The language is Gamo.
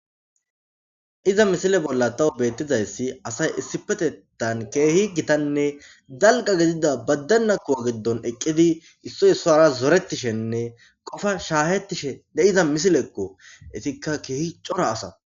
iza misile bolla tawu beettizayssi asay issipetetan keehi gitanne dalga gidida baddenna kuwa giddon eqqidi issoy issora zorettishenne qofa shaahettishe ne iza misileekko isikka keehi cora asa